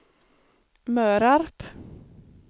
Mörarp